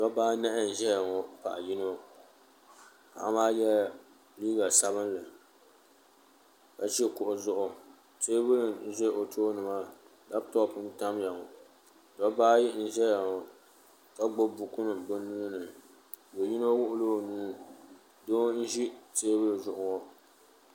Dobba anahi n ʒɛya ŋɔ paɣa yino paɣa maa yela liiga sabinli ka ʒi kuɣu zuɣu teebuli n ʒɛ o tooni maa laaputopu n tamya ŋɔ dobba ayi n zaya ŋɔ ka gbibi buku nima bɛ nuuni do yino wuɣi la o nuu doo n ʒi teebuli zuɣu ŋɔ.